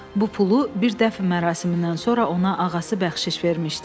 Bu pulu bir dəfn mərasimindən sonra ona ağası bəxşiş vermişdi.